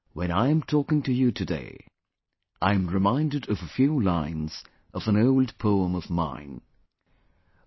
When I am talking to you today, I am reminded of a few lines of an old poem of mine...